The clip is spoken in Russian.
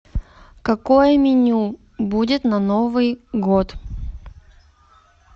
какое меню будет на новый год